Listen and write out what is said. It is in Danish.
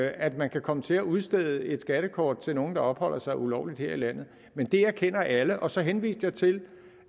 at man kan komme til at udstede et skattekort til nogen der opholder sig ulovligt her i landet men det erkender alle og så henviste jeg til